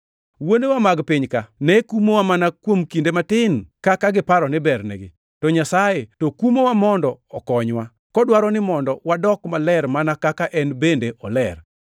Wuonewa mag piny-ka ne kumowa mana kuom kinde matin kaka giparo ni bernegi, to Nyasaye to kumowa mondo okonywa, kodwaro ni mondo wadok maler mana kaka en bende oler.